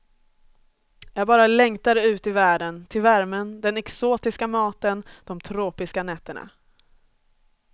Jag bara längtade ut i världen, till värmen, den exotiska maten, de tropiska nätterna.